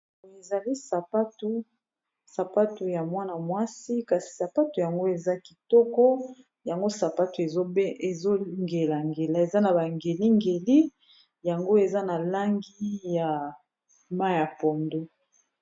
Boye ezali sapato ya mwana mwasi kasi sapato yango eza kitoko yango sapato ezongelangela eza na bangelingeli yango eza na langi ya maya pondo